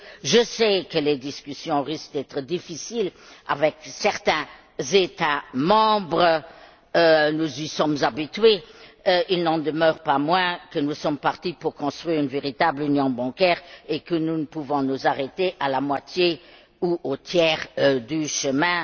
Je sais que les discussions risquent d'être difficiles avec certains États membres, nous y sommes habitués. Il n'en demeure pas moins que nous sommes partis pour construire une véritable union bancaire et que nous ne pouvons pas nous arrêter à la moitié ou au tiers du chemin.